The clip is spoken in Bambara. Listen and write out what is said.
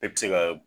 E ti se ka